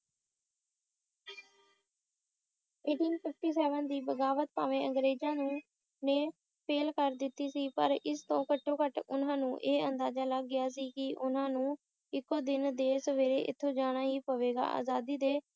eighteen fifty seven ਦੀ ਬਗਾਵਤ ਭਾਵੇਂ ਅੰਗਰੇਜਾਂ ਨੂੰ ਨੇ fail ਕਰ ਦਿੱਤੀ ਸੀ ਪਰ ਇਸਤੋਂ ਘੱਟੋਂ ਘੱਟ ਉਨਾਂ ਨੂੰ ਇਹ ਅੰਦਾਜ਼ਾ ਲੱਗ ਗਿਆ ਸੀ ਕਿ ਉਨ੍ਹਾਂ ਨੂੰ ਇੱਕ ਦਿਨ ਇੱਥੋਂ ਜਾਣਾ ਹੀ ਪਵੇਗਾ ਆਜ਼ਾਦੀ ਦੇ